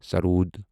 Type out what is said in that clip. سرود